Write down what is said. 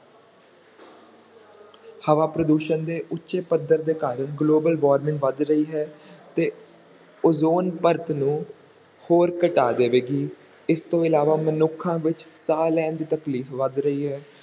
ਹਵਾ ਪ੍ਰਦੂਸ਼ਣ ਦੇ ਉੱਚੇ ਪੱਧਰ ਦੇ ਕਾਰਨ global warming ਵੱਧ ਰਹੀ ਹੈ ਤੇ ਓਜ਼ੋਨ ਪਰਤ ਨੂੰ ਹੋਰ ਘਟਾ ਦੇਵੇਗੀ, ਇਸ ਤੋਂ ਇਲਾਵਾ ਮਨੁੱਖਾਂ ਵਿੱਚ ਸਾਹ ਲੈਣ ਦੀ ਤਕਲੀਫ਼ ਵੱਧ ਰਹੀ ਹੈ।